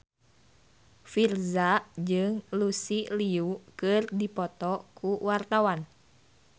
Virzha jeung Lucy Liu keur dipoto ku wartawan